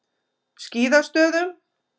Skíðastöðum